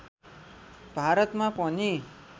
भारतमा पनि